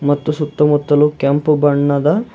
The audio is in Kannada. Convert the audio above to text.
ಮತ್ತು ಸುತ್ತ ಮುತ್ತಲು ಕೆಂಪು ಬಣ್ಣದ--